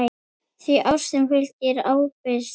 Því að ástinni fylgir ábyrgð.